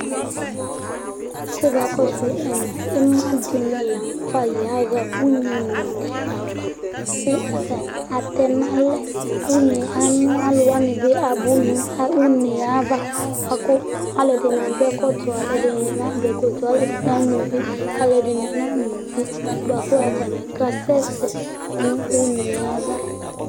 ƙʊba ƙɔsʊ ɩmaɗɩnɩ ƴaha ʊnɛ nʊaɖɩava ƙʊ atanɩ atɛnalɛ ʊnɛ anʊ alʊwanɩbɩ abunu unɛaʋa ɓʊaƙu alʊɛɖɩnɩ aƙɔ ɛƙɔtɔ alʊɛɖɩnɩ na ƙɔ ɛƙɔtɔ alʊɛɖinɩ ama ʊʋɩ alʊɛɖɩnɩ nama ʊvɩ baƙʊ atanɩ ƙa sɛsɛ nʊ ʊnɛaʋa